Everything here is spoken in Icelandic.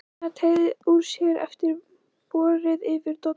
Gunnar og teygði úr sér eftir bogrið yfir dollunum.